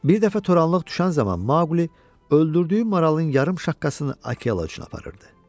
Bir dəfə toranlıq düşən zaman Maqli öldürdüyü maralın yarım şaqqasını Akela üçün aparırdı.